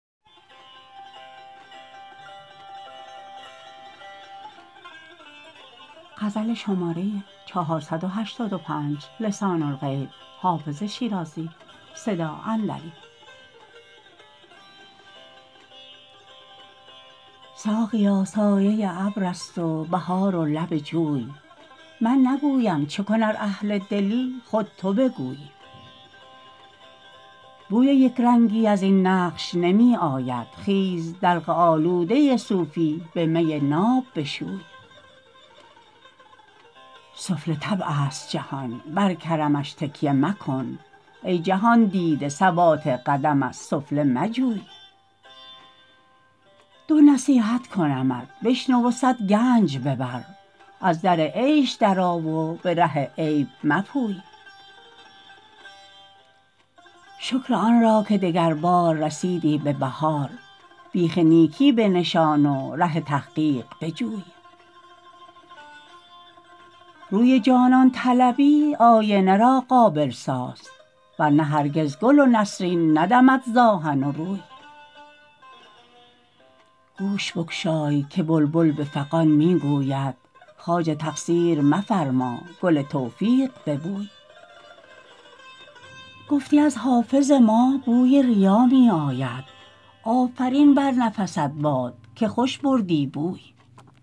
ساقیا سایه ابر است و بهار و لب جوی من نگویم چه کن ار اهل دلی خود تو بگوی بوی یک رنگی از این نقش نمی آید خیز دلق آلوده صوفی به می ناب بشوی سفله طبع است جهان بر کرمش تکیه مکن ای جهان دیده ثبات قدم از سفله مجوی دو نصیحت کنمت بشنو و صد گنج ببر از در عیش درآ و به ره عیب مپوی شکر آن را که دگربار رسیدی به بهار بیخ نیکی بنشان و ره تحقیق بجوی روی جانان طلبی آینه را قابل ساز ور نه هرگز گل و نسرین ندمد ز آهن و روی گوش بگشای که بلبل به فغان می گوید خواجه تقصیر مفرما گل توفیق ببوی گفتی از حافظ ما بوی ریا می آید آفرین بر نفست باد که خوش بردی بوی